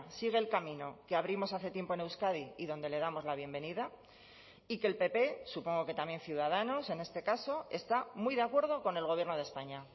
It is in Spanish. sigue el camino que abrimos hace tiempo en euskadi y donde le damos la bienvenida y que el pp supongo que también ciudadanos en este caso está muy de acuerdo con el gobierno de españa